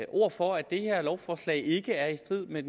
ord for at det her lovforslag ikke er i strid med